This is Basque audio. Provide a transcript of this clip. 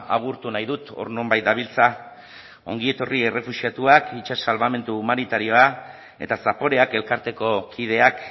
agurtu nahi dut hor nonbait dabiltza ongi etorri errefuxiatuak itsas salbamendu humanitarioa eta zaporeak elkarteko kideak